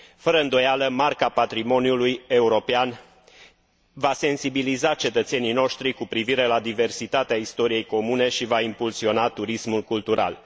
Fără îndoială, Marca patrimoniului european va sensibiliza cetățenii noștri cu privire la diversitatea istoriei comune și va impulsiona turismul cultural.